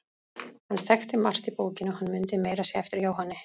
Hann þekkti margt í bókinni og hann mundi meira að segja eftir Jóhanni